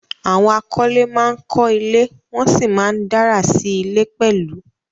Àwọn akọ́lé ma ń kọ́ ilé, wọ́n sì ma ń dárà sí ilé pẹ̀lú